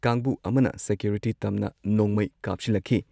ꯀꯥꯡꯕꯨ ꯑꯃꯅ ꯁꯦꯀ꯭ꯌꯨꯔꯤꯇꯤ ꯇꯝꯅ ꯅꯣꯡꯃꯩ ꯀꯥꯞꯁꯤꯜꯂꯛꯈꯤ ꯫